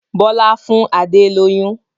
Bọlá fún Adé lóyún